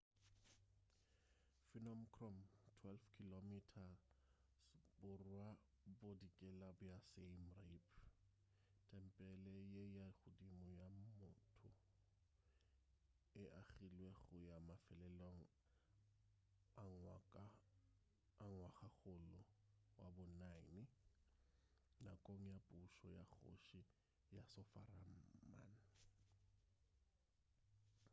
phnom krom 12 km borwa-bodikela bja siem reap tempele ye ya godimo ga mmoto e agilwe go ya mafelelong a ngwagakgolo wa bo 9 nakong ya pušo ya kgoši yasovarman